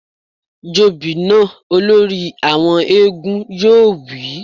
Jobì náà! Olórí àwọn éégún yóò wí